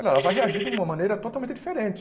Ela vai reagir de uma maneira totalmente diferente.